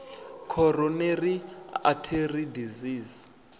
coronary artery disease